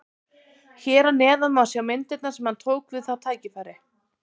Hér að neðan má sjá myndirnar sem hann tók við það tækifæri.